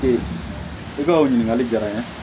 i ka o ɲininkali jara n ye